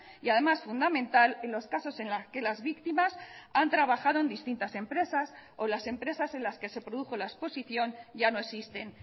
y además fundamental en los casos en las que las víctimas han trabajado en distintas empresas o las empresas en las que se produjo la exposición ya no existen